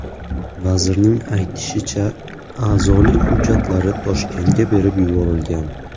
Vazirning aytishicha, a’zolik hujjatlari Toshkentga berib yuborilgan.